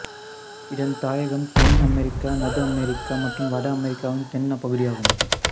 இதன் தாயகம் தென் அமெரிக்கா நடு அமெரிக்கா மற்றும் வட அமெரிக்காவின் தென் பகுதியாகும்